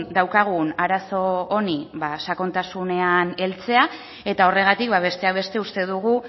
daukagun arazo honi ba sakontasunean heltzea eta horregatik besteak beste uste dugu